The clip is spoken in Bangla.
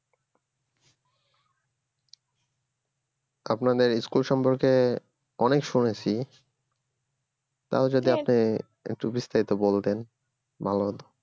আপনাদের school সম্পর্কে অনেক শুনেছি তাও যদি আপনি একটু বিস্তারিত বলতেন ভালো হতো